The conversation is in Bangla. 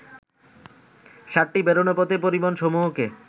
সাতটি বেরোনোর পথে পরিবহনসমূহকে